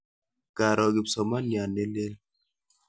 Karo kipsomaniat ne lel.